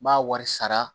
N b'a wari sara